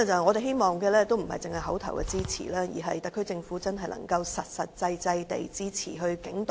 我們希望不單是口頭支持，而是特區政府真的能夠實際支持警隊。